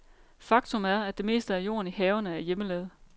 Faktum er, at det meste af jorden i haverne er hjemmelavet.